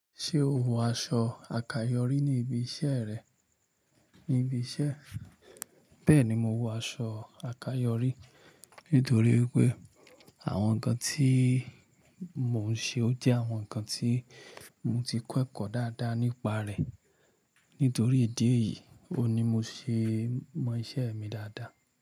Ṣé o wọ aṣọ àkáyọrí ní ibi iṣẹ́ rẹ? Ní ibi iṣẹ́, bẹ́ẹ̀ni mo wọ aṣọ àkáyọrí nítorí pé àwọn nǹkan tí mo ń ṣe ó jẹ́ àwọn nǹkan tí mo ti kẹ́kọ̀ọ́ dáadáa nípa rẹ̀. Nítorí ìdí èyí, òní mo ṣe mọ iṣẹ́ mi dáadáa.